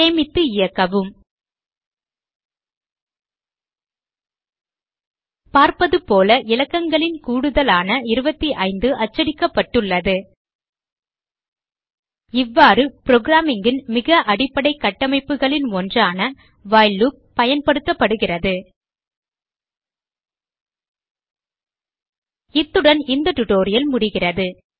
சேமித்து இயக்கவும் பார்ப்பதுபோல இலக்கங்களின் கூடுதலான 25 அச்சிடப்பட்டுள்ளது இவ்வாறு programming ன் மிக அடிப்படை கட்டமைப்புகளின் ஒன்றான வைல் லூப் பயன்படுத்தப்படுகிறது இத்துடன் இந்த டியூட்டோரியல் முடிகிறது